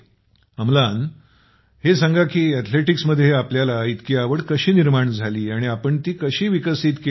आमलान हे सांगा कि अथलेटिक्समध्ये आपल्याला इतकी आवड कशी निर्माण झाली आणि आपण ती विकसित कशी केली